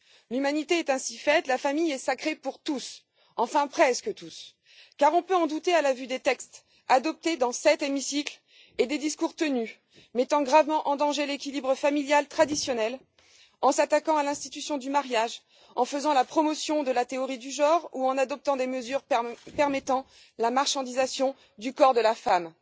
L'humanité est ainsi faite, la famille est sacrée pour tous enfin presque tous, car on peut en douter à la vue des textes adoptés et des discours tenus dans cet hémicycle qui mettent gravement en danger l'équilibre familial traditionnel en s'attaquant à l'institution du mariage, en faisant la promotion de la théorie du genre ou en adoptant des mesures permettant la marchandisation du corps de la femme.